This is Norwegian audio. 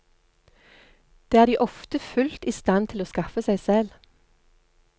Det er de ofte fullt i stand til å skaffe seg selv.